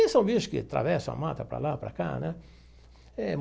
E são bichos que atravessam a mata para lá, para cá né eh.